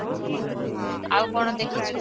ଆଉ କ'ଣ ଦେଖିଚୁ?